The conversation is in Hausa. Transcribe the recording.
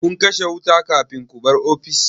Kun kashe wuta kafin ku bar ofis?